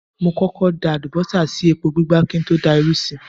Mo kọ́kọ́ da àlùbọ́sà sí epo gbígbá kí n tó da irú sí i.